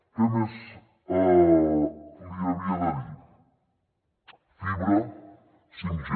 què més li havia de dir fibra 5g